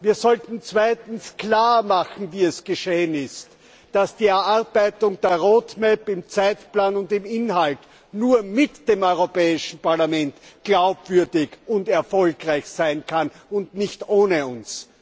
Wir sollten zweitens klarmachen wie es geschehen ist dass die Erarbeitung der Roadmap im Zeitplan und im Inhalt nur mit dem Europäischen Parlament glaubwürdig und erfolgreich sein kann und nicht ohne uns.